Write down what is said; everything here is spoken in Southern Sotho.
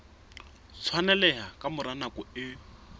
tshwaneleha ka mora nako e